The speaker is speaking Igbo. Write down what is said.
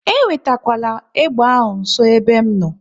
E wetekwala egbe ahụ nso n'ebe m nọ!